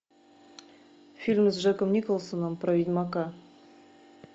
фильм с джеком николсоном про ведьмака